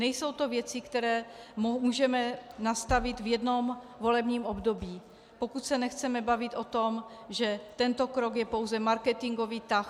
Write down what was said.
Nejsou to věci, které můžeme nastavit v jednom volebním období, pokud se nechceme bavit o tom, že tento krok je pouze marketingový tah.